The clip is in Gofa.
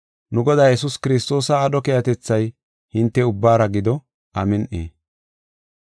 [Nu Godaa Yesuus Kiristoosa aadho keehatethay hinte ubbaara gido. Amin7i.]